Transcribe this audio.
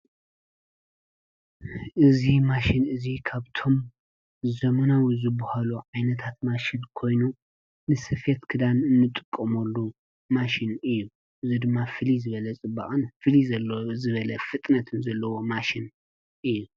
እዙ ማሽን እዙይ ኻብቶም ዘመናዊ ዝብሃሉ ዓይነታት ማሽን ኮይኑ ንስፍት ክዳን እንጥቆ ሞሉ ማሽን እዩ ዝድማ ፍሊ ዝበለ ጽበቕን ፍሊ ዘለ ዝበለ ፍጥነትን ዘለዎ ማሽን እዩ።